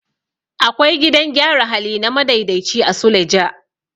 Akwai gidan gyara hali na madaidaici a suleja.